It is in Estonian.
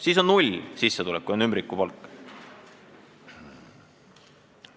Kui on ümbrikupalk, siis on sissetulek ju null.